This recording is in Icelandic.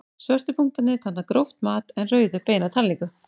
Svörtu punktarnir tákna gróft mat en rauðu beina talningu.